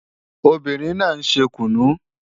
Obìnrin náà ń ṣe kùnú